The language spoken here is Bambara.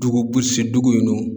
Dugu gosi dugu in nɔ.